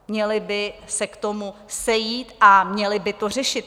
Měli by se k tomu sejít a měli by to řešit.